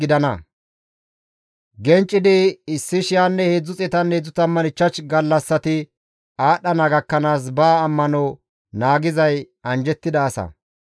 Genccidi 1,335 gallassati aadhdhana gakkanaas ba ammano naagizay anjjettida asa.